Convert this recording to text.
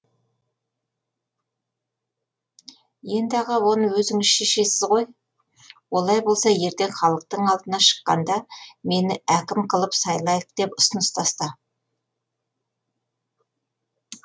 енді аға оны өзіңіз шешесіз ғой олай болса ертең халықтың алдына шыққанда мені әкім қылып сайлайық деп ұсыныс таста